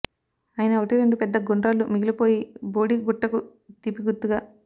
అయినా ఒకటి రెండు పెద్ద గుండ్రాళ్ళు మిగిలిపోయాయి బోడి గుట్టకు తీపిగుర్తుగా